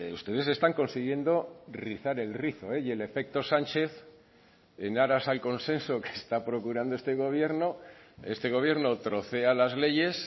ustedes están consiguiendo rizar el rizo y el efecto sánchez en aras al consenso que está procurando este gobierno este gobierno trocea las leyes